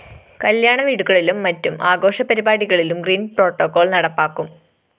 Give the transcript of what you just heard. കല്യാണ വീടുകളിലും മറ്റും ആഘോഷപരിപാടികളിലും ഗ്രീന്‍പ്രോട്ടോകോള്‍ നടപ്പാക്കും